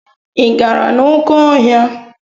Ị gara n'oké ọhịa?